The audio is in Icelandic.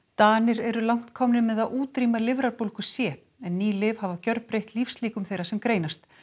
Danir eru langt komnir með að útrýma lifrarbólgu c en ný lyf hafa gjörbreytt lífslíkum þeirra sem greinast